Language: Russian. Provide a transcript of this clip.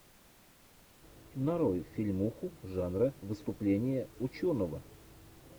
нарой фильмуху жанра выступление ученого